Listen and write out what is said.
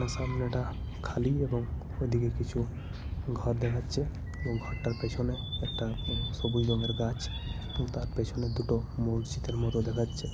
আর সামনেটা খালি। এবং ওদিকে কিছু ঘর দেখাচ্ছে। এবং ঘরটার পেছনে একটা সবুজ রঙের গাছ। এবং তার পেছনে দুটো মসজিদের মতো দেখাচ্ছে।